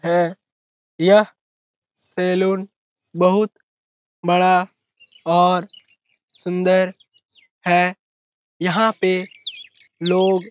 है। यह सैलून बहुत बड़ा और सुन्दर है। यहाँ पे लोग --